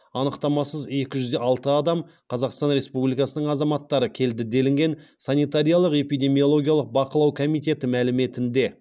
анықтамасыз екі жүз алты қазақстан республикасының азаматтары келді делінген санитариялық эпидемиологиялық бақылау комитеті мәліметінде